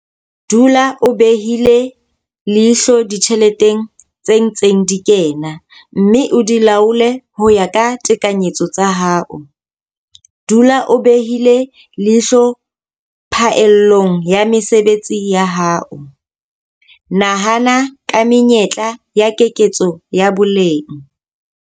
Dula o behile leihlo ditjheleteng tse ntseng di kena, mme o di laole ho ya ka tekanyetso tsa hao. Dula o behile leihlo phaellong ya mesebetsi ya hao. Nahana ka menyetla ya keketso ya boleng.